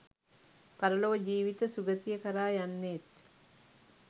පරලොව ජීවිත සුගතිය කරා යන්නේත්